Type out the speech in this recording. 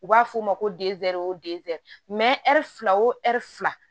U b'a f'o ma ko o dezɛri ɛri fila o ɛri fila